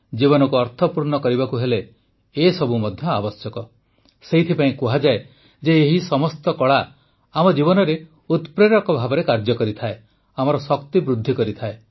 ଜୀବନକୁ ଅର୍ଥପୂର୍ଣ୍ଣ କରିବାକୁ ହେଲେ ଏସବୁ ମଧ୍ୟ ଆବଶ୍ୟକ ସେଥିପାଇଁ କୁହାଯାଏ ଯେ ଏହି ସମସ୍ତ କଳା ଆମ ଜୀବନରେ ଉତପ୍ରେରକ ଭାବରେ କାର୍ଯ୍ୟ କରେ ଆମର ଶକ୍ତି ବୃଦ୍ଧି କରେ